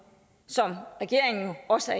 som regeringen også